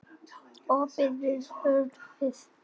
Opið var horfið.